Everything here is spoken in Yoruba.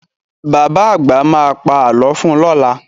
Bàbá àgbà ma pà lọ fun lọ́la